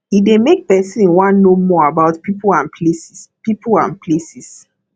e dey make person wan know more about pipo and places pipo and places